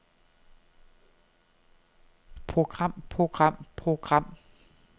program program program